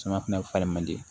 Caman fɛnɛ falen man di